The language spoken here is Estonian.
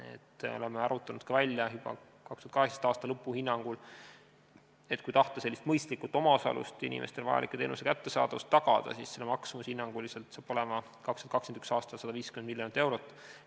Me oleme ka juba välja arvutanud, 2018. aasta lõpu hinnangul, et kui tahta sellist mõistlikku omaosalust, mis inimestele vajaliku teenuse kättesaadavuse tagab, siis on selle maksumus 2021. aastal hinnanguliselt 150 miljonit eurot.